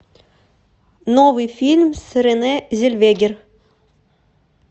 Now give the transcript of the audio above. новый фильм с рене зельвегер